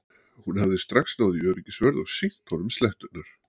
Hún hafði strax náð í öryggisvörð og sýnt honum sletturnar.